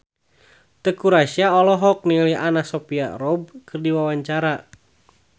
Teuku Rassya olohok ningali Anna Sophia Robb keur diwawancara